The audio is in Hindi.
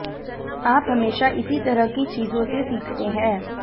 आप हमेशा इसी तरह की चीजों से सीखते हैं